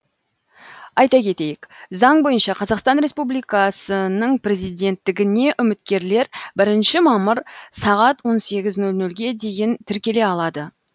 айта кетейік заң бойынша қазақстан республикасының президенттігіне үміткерлер бірінші мамыр сағат он сегіз нөл нөлге дейін тіркеле алады